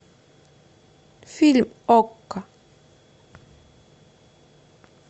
фильм окко